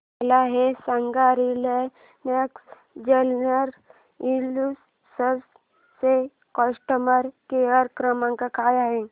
मला हे सांग रिलायन्स जनरल इन्शुरंस चा कस्टमर केअर क्रमांक काय आहे